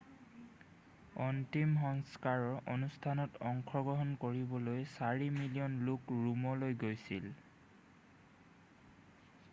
অন্তিম সংস্কাৰৰ অনুষ্ঠানত অংশগ্ৰহণ কৰিবলৈ চাৰি মিলিয়ন লোক ৰোমলৈ গৈছিল